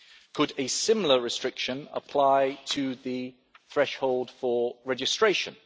Could a similar restriction apply to the threshold for registration?